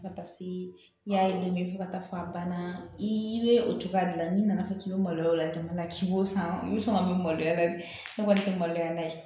Fo ka taa se i y'a ye dɛmɛ fo ka taa fɔ a banna i bɛ o cogoya dilan n'i nana fɔ k'i bɛ maloya o la jamana si o san i bɛ sɔn ka min maloya ne kɔni tɛ maloya n'a ye